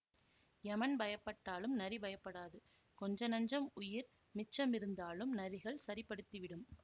யமன் பயப்பட்டாலும் நரி பயப்படாது கொஞ்ச நஞ்சம் உயிர் மிச்ச மிருந்தாலும் நரிகள் சரிப்படுத்திவிடும்